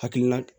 Hakilina